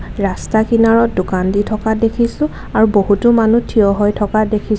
ৰাস্তাৰ কিনাৰত দোকান দি থকা দেখিছোঁ আৰু বহুতো মানুহ থিয় হৈ থকা দেখিছ--